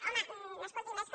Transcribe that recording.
home escolti més que